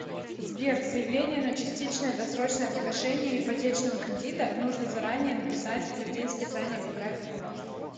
сбер заявление на частичное досрочное погашение ипотечного кредита нужно заранее написать или в день списания по графику можно